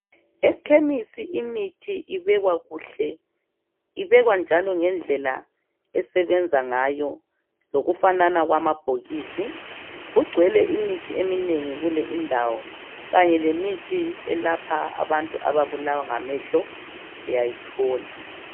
Ekhemesi imithi ibekwa kuhle. Ibekwa njalo ngendlela esebenza ngayo ngofanana kwamabhokisi. kugcwele imithi eminengi kuleyo ndawo, kanye le mithi eyelapha abantu ababulawa ngamehlo uyayithola